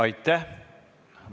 Aitäh!